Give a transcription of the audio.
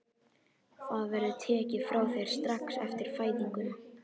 Það verður tekið frá þér strax eftir fæðinguna.